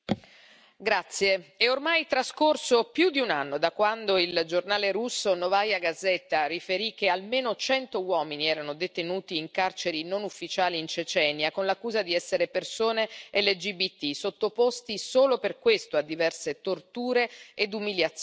Signor Presidente, onorevoli colleghi, è ormai trascorso più di un anno da quando il giornale russo Novaja Gazeta riferì che almeno cento uomini erano detenuti in carceri non ufficiali in Cecenia, con l'accusa di essere persone LGBT sottoposte solo per questo a diverse torture ed umiliazioni.